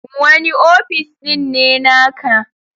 Wani ofis ɗin ne naka?